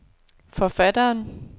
forfatteren